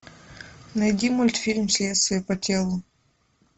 найди мультфильм следствие по телу